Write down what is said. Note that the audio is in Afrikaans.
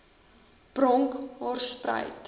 bronkhorspruit